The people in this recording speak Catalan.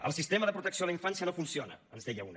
el sistema de protecció a la infància no funciona ens deia una